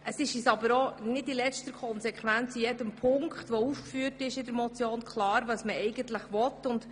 Es ist uns aber nicht bei jedem Punkt dieser Motion klar, was eigentlich gewünscht wird.